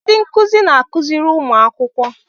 Ndị nkụzi na-akụziri ụmụ akwụkwọ.